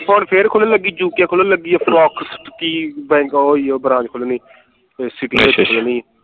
ਹੁਣ ਫੇਰ ਖੁਲਣ ਲਗੀ UK ਖੁਲਣ ਲੱਗੀ ਹੈ branch ਖੁੱਲਣੀ ਤੇ city ਚ ਖੁੱਲਣੀ